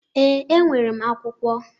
Ee, enwere m akwụkwọ.